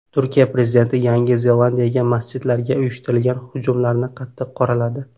Turkiya prezidenti Yangi Zelandiyadagi masjidlarga uyushtirilgan hujumlarni qattiq qoraladi.